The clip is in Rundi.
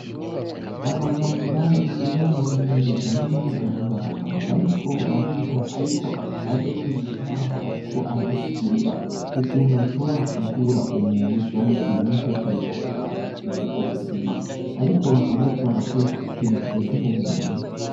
Abaganga biga mu bintu bijanye n'ubuganga bakaba bariko bariga, ariko akabariho n'umwigisha wabo, ariko arabasigurira ukuntu bashobora kuvura umuntu canke ibintu vyose bitandukanyi bifise ubuzima, ariko bakaba bariko barakoresha ikintu kimeze nwu muntu.